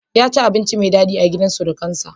Ya ci abinci mai daɗi a gidan surukinsa.